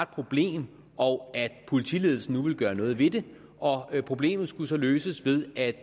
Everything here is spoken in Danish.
problem og at politiledelsen nu ville gøre noget ved det og problemet skulle så løses ved at